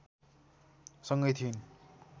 सँगै थिइन्